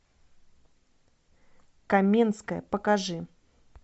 каменская покажи